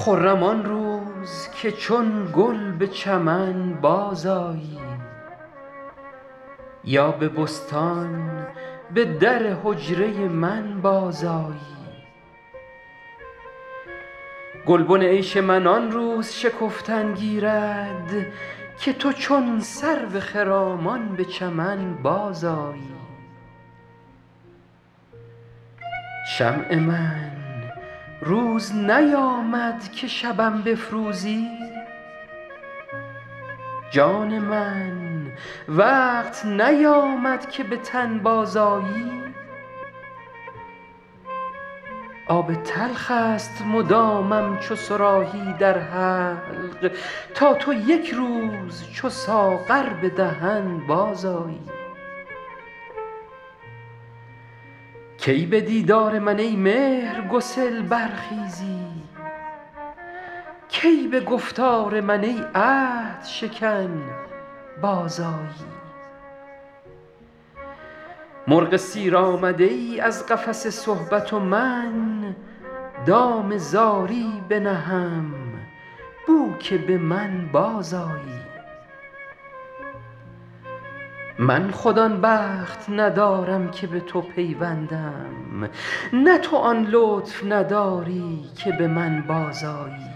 خرم آن روز که چون گل به چمن بازآیی یا به بستان به در حجره من بازآیی گلبن عیش من آن روز شکفتن گیرد که تو چون سرو خرامان به چمن بازآیی شمع من روز نیامد که شبم بفروزی جان من وقت نیامد که به تن بازآیی آب تلخ است مدامم چو صراحی در حلق تا تو یک روز چو ساغر به دهن بازآیی کی به دیدار من ای مهرگسل برخیزی کی به گفتار من ای عهدشکن بازآیی مرغ سیر آمده ای از قفس صحبت و من دام زاری بنهم بو که به من بازآیی من خود آن بخت ندارم که به تو پیوندم نه تو آن لطف نداری که به من بازآیی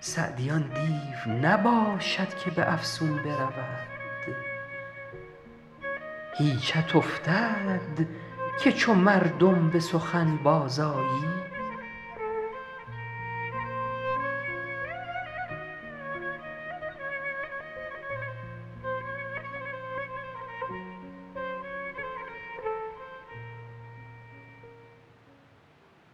سعدی آن دیو نباشد که به افسون برود هیچت افتد که چو مردم به سخن بازآیی